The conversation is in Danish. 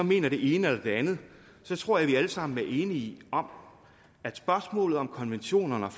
mener det ene eller det andet tror jeg vi alle sammen er enige om at spørgsmålet om konventionerne og